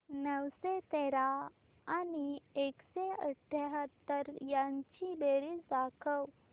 नऊशे तेरा आणि एकशे अठयाहत्तर यांची बेरीज दाखव